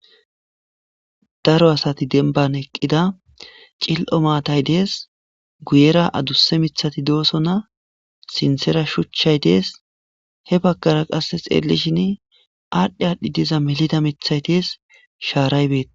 Daro asati demban eqida cili'o mattay Des guyera adusa mithati dosona sinthara shuchay des. He bagara qase xelishin adhi adhi diza melida mithay des.sharay betes.